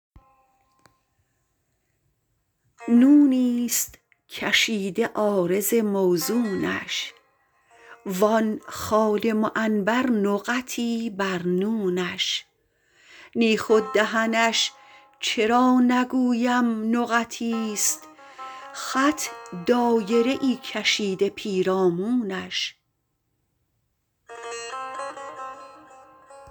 نونیست کشیده عارض موزونش وآن خال معنبر نقطی بر نونش نی خود دهنش چرا نگویم نقطیست خط دایره ای کشیده پیرامونش